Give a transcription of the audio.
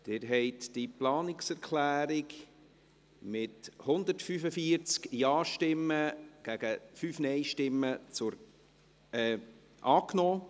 Sie haben diese Planungserklärung angenommen, mit 145 Ja- zu 5 Nein-Stimmen.